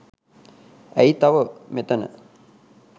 ඇයි තව මෙතන